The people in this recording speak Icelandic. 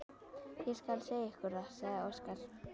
Ég skal segja ykkur það, sagði Óskar.